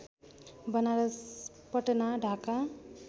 Banaras Patna Dhaka